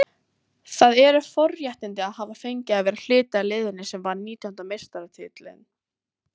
Það eru forréttindi að hafa fengið að vera hluti af liðinu sem vann nítjánda meistaratitilinn.